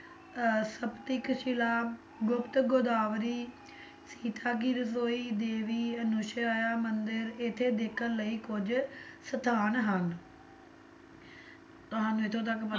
ਅਹ ਸਪਤਿਕ ਸ਼ਿਲਾ, ਗੁਪਤ ਗੋਦਾਵਰੀ, ਸੀਤਾ ਕੀ ਰਸੋਈ, ਦੇਵੀ ਅਨੁਸੂਯਾ ਮੰਦਿਰ ਇੱਥੇ ਦੇਖਣ ਲਈ ਕੁੱਝ ਸਥਾਨ ਹਨ ਇੱਥੋਂ ਤੱਕ